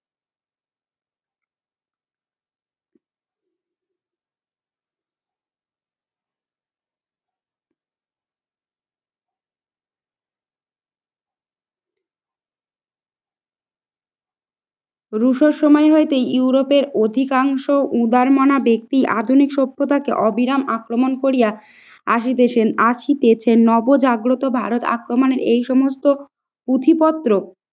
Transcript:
Russo সময় হইতেই ইউরোপের অধিকাংশ উদারমানা ব্যক্তি আধুনিক সভ্যতাকে অবিরাম আক্রমণ করিয়া আসিতেছেন। আখি পেয়েছেন নব জাগ্রত ভারত আক্রমনের এই সমস্ত পুঁথিপত্র